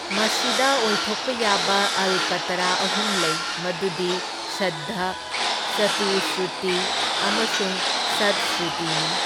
ꯃꯁꯤꯗ ꯑꯣꯏꯊꯣꯛꯄ ꯌꯥꯕ ꯑꯜꯀꯥꯇꯔꯥ ꯑꯍꯨꯝ ꯂꯩ, ꯃꯗꯨꯗꯤ ꯁꯨꯗ꯭ꯙ, ꯆꯇꯨꯁ꯭ꯔꯨꯇꯤ ꯑꯃꯁꯨꯡ ꯁꯠꯁ꯭ꯔꯨꯇꯤꯅꯤ꯫